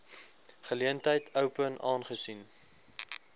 geleentheid open aangesien